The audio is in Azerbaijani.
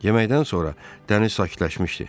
Yeməkdən sonra dəniz sakitləşmişdi.